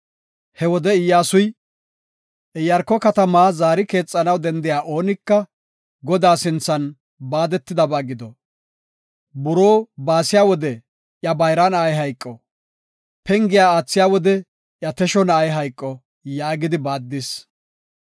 He wode Iyyasuy, “Iyaarko katamaa zaari keexanaw dendiya oonika, Godaa sinthan baadetidabaa gido. Buroo baasiya wode iya bayra na7ay hayqo, Pengiya aathiya wode iya tesho na7ay hayqo” yaagidi baaddis.